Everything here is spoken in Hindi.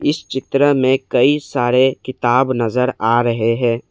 इस चित्र में कई सारे किताब नजर आ रहे हैं।